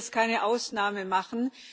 Ich kann jetzt keine Ausnahme machen.